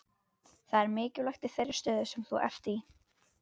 Það er mikilvægt í þeirri stöðu sem þú ert í.